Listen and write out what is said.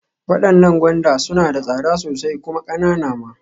Waɗannan gwanda suna da tsada sosai kuma ƙananan ma.